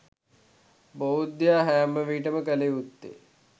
බෞද්ධයා හැම විටකම කළයුත්තේ